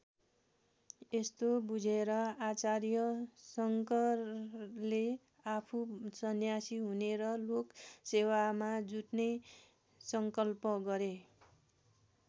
यस्तो बुझेर आचार्य शङ्करले आफू सन्यासी हुने र लोकसेवामा जुट्ने सङ्कल्प गरे।